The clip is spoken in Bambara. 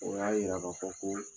O y'a yira ka fɔ ko